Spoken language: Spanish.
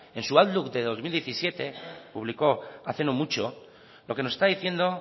en su outlook de dos mil diecisiete publicó hace no mucho lo que nos está diciendo